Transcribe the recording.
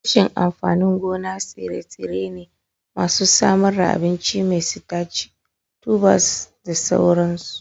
Tushen amfanin gona tsire-tsire ne masu samar da abinci mai sitaci, tubers da sauransu.